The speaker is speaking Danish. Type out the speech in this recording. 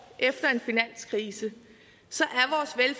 efter en finanskrise